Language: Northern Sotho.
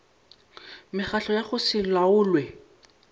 mekgatlo ya go se laolwe